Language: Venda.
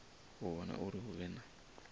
u vhona uri hu vhe